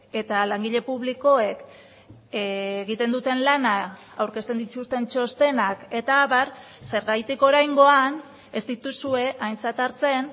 eta langile publikoek egiten duten lana aurkezten dituzten txostenak eta abar zergatik oraingoan ez dituzue aintzat hartzen